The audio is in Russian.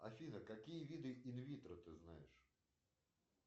афина какие виды инвитро ты знаешь